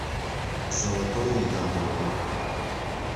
золотое яблоко